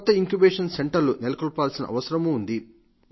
కొత్త ఇంక్యుబేషన్ సెంటర్లు నెలకొల్పాల్సిన అవసరమూ ఉంది